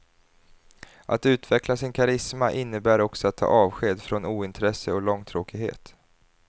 Att utveckla sin karisma innebär också att ta avsked från ointresse och långtråkighet.